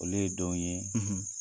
Olu ye don ye,